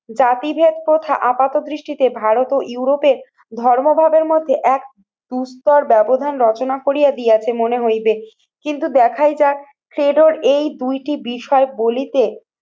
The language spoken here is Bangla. জাতিভেদ প্রথা আপাতদৃষ্টিতে ভারত ও ইউরোপে ধর্মবাদের মধ্যে এক সুস্তর ব্যবধান রচনা করিয়া দিয়াছে মনে হইবে কিন্তু দেখাই যাক থিয়েটার এই দুইটি বিষয় বলিতে